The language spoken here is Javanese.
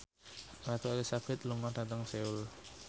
Ratu Elizabeth lunga dhateng Seoul